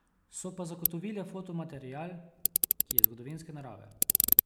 So pa zagotovile fotomaterial, ki je zgodovinske narave.